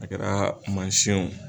A kɛra masin yen o.